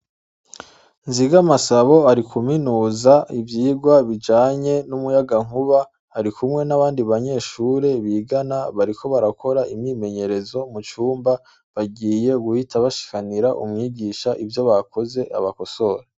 Nzigamasabo ari kuminuza ivyigwa bijanye n'umuyagankuba. Ari kumwe n'abandi banyeshure bigana, bariko barakora imyimenyerezo mu cumba. Bagiye guhita bashikanira umwigisha ivyo bakoze ngo abakosore.